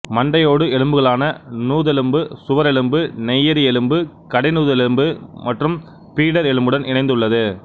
மண்டையோடு எலும்புகளான நுதலெலும்பு சுவரெலும்பு நெய்யரியெலும்பு கடைநுதலெலும்பு மற்றும் பிடர் எலும்புடன் இணைந்துள்ளது